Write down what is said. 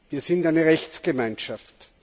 Wir sind eine Rechtsgemeinschaft.